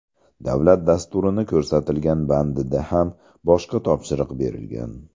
Davlat dasturini ko‘rsatilgan bandida ham boshqa topshiriq berilgan.